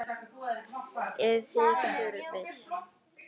Ef þið þurfið.